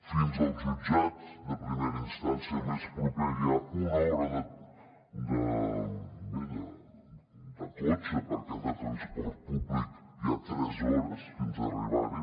fins al jutjat de primera instància més proper hi ha una hora de cotxe perquè en transport públic hi ha tres hores fins a arribar hi